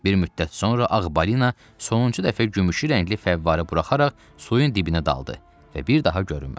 Bir müddət sonra ağbalina sonuncu dəfə gümüşü rəngli fəvvərələr buraxaraq suyun dibinə daldı və bir daha görünmədi.